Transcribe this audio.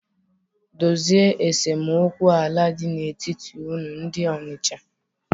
Dozienu esemokwu ala dị n'etiti unu ndị Ọnịcha!